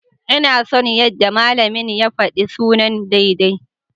Ina son yadda malamin ya faɗi sunan daidai.